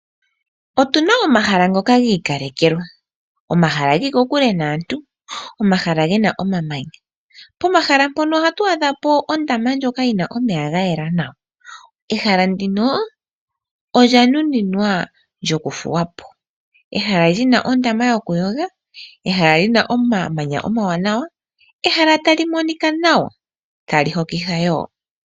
Otu na omahala ngoka gi ikalekelwa. Omahala ge li kokule naantu, omahala ge na omamanya. Pomahala mpono ohatu adha po ondama ndjoka yi na omeya ga yela nawa. Ehala ndino olya nuninwa lyokuthuwa po. Ehala li na ondama yokuyoga, ehala li na omamanya omawanawa, ehala tali monika nawa ,tali hokitha wo.